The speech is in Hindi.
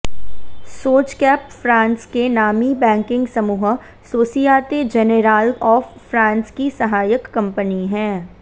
सोजकैप फ्रांस के नामी बैंकिंग समूह सोसियाते जेनेराल ऑफ फ्रांस की सहायक कंपनी है